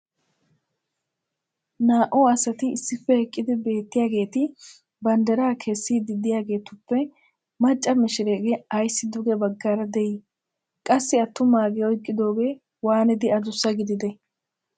naa"u asati issippe eqqidi beettiyaageeti bandiraa kessiidi diyaageetuppe mcca mishireegee ayssi duge bagaara de'ii? qassi attumaagee oyqqidoogee waanidi adussa gididee?